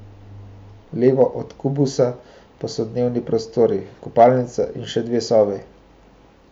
Levo od kubusa pa so dnevni prostor, kopalnica in še dve sobi.